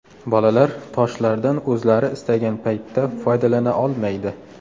Bolalar toshlardan o‘zlari istagan paytda foydalana olmaydi.